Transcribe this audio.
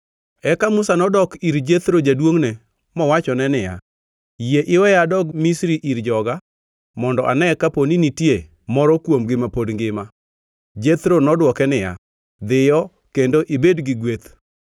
Eka Musa nodok ir Jethro jaduongʼne mowachone niya “Yie iweya adog Misri ir joga mondo ane kapo ni nitie moro kuomgi ma pod ngima.” Jethro nodwoke niya, “Dhiyo kendo ibed gi gweth.”